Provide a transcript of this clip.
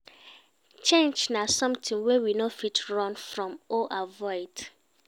Change na something wey we no fit run from or avoid